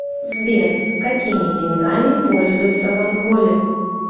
сбер какими деньгами пользуются в анголе